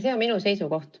See on minu seisukoht.